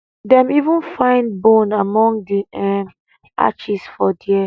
dem even find bone among di um ashes for dia